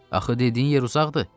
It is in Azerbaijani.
Axı dediyin yer uzaqdır.